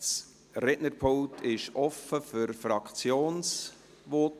Das Rednerpult ist offen für Fraktionsvoten.